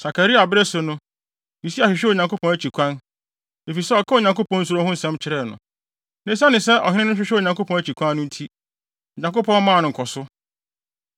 Sakaria bere so no, Usia hwehwɛɛ Onyankopɔn akyi kwan, efisɛ ɔkaa Onyankopɔn suro ho nsɛm kyerɛɛ no. Na esiane sɛ ɔhene no hwehwɛɛ Onyankopɔn akyi kwan no nti, Onyankopɔn maa no nkɔso.